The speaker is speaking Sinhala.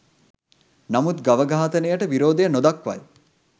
නමුත් ගව ඝාතනයට විරෝධය නොදක්වයි.